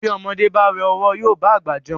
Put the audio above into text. Bí ọmọdé bá wẹ ọ̀wọ́ yóò bá àgbà jẹun.